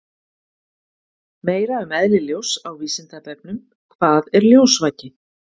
Meira um eðli ljóss á Vísindavefnum: Hvað er ljósvaki?